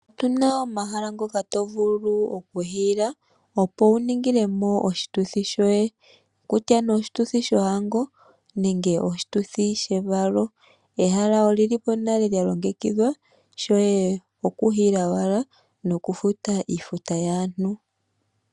Otu na omahala ngoka to vulu okuhiila, opo wu ningile mo oshituthi shoye. Kutya nee oshituthi shohango nenge oshituthi shevalo. Ehala oli li po nale lya longekidhwa, shoye okuhiila owala nokufuta iifuta yaantu.